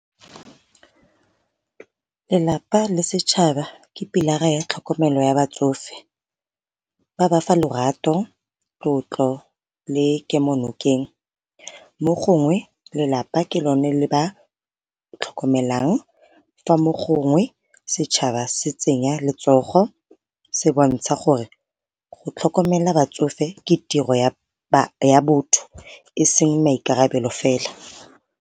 Lelapa le setšhaba ke pilara ya tlhokomelo ya batsofe ba ba fa lerato, tlotlo le kemo nokeng. Mo gongwe lelapa ke lone le ba tlhokomelang ka mo gongwe setšhaba se tsenya letsogo, se bontsha gore go tlhokomela batsofe ke tiro ya botho e seng maikarabelo fela.